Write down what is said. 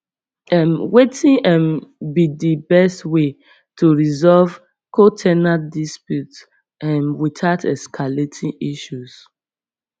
um wetin um be di best way to resolve co ten ant dispute um witout escalating issues